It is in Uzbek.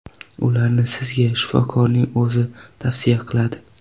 Ularni sizga shifokorning o‘zi tavsiya qiladi.